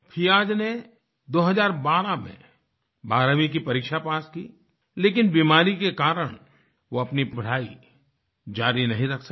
फियाज़ ने 2012 में 12वीं की परीक्षा पास की लेकिन बीमारी के कारणवो अपनी पढाई जारी नहीं रख सके